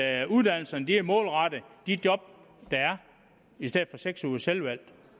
at uddannelsen er målrettet de job der er i stedet for seks ugers selvvalgt